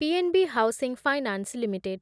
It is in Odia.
PNB housing finance limited